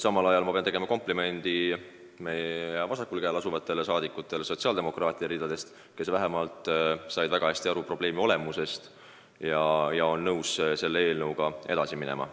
Samal ajal ma pean tegema komplimendi rahvasaadikutele sotsiaaldemokraatide ridadest: nad said väga hästi aru probleemi olemusest ja on nõus selle eelnõuga edasi minema.